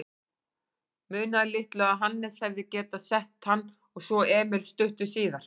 Munaði litlu að Hannes hefði getað sett hann og svo Emil stuttu síðar.